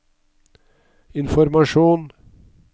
informasjon